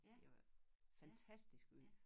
Det var fantastisk by